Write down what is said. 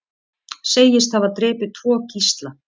Segist hafa drepið tvo gísla